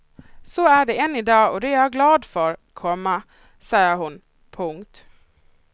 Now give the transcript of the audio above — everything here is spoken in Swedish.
Så är det än i dag och det är jag glad för, komma säger hon. punkt